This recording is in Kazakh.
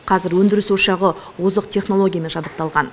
қазір өндіріс ошағы озық технологиямен жабдықталған